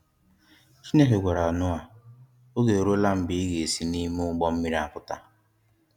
Chineke gwara Noah oge e ruọla mgbe ị ga esi n'ime ụgbọ mmiri a pụta.